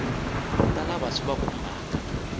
ta lava swi va khumbhaka